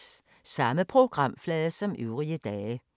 Samme programflade som øvrige dage